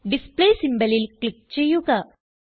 display symbolൽ click ചെയ്യുക